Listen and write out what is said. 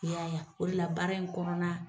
I y'a ye o de la baara in kɔnɔna